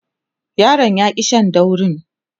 yaron ya ki Shan daurin